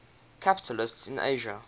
capitals in asia